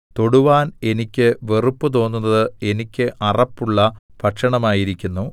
തൊടുവാൻ എനിയ്ക്ക് വെറുപ്പ് തോന്നുന്നത് എനിയ്ക്ക് അറപ്പുള്ള ഭക്ഷണമായിരിക്കുന്നു